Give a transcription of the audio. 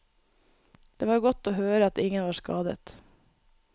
Det var godt å høre at ingen var skadet.